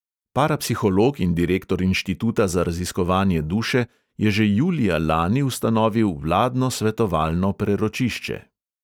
Parapsiholog in direktor inštituta za raziskovanje duše je že julija lani ustanovil vladno svetovalno preročišče.